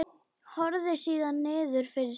Horfir síðan niður fyrir sig.